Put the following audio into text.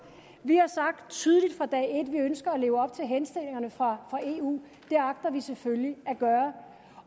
vi har sagt tydeligt fra dag et at vi ønsker at leve op til henstillingerne fra eu det agter vi selvfølgelig at gøre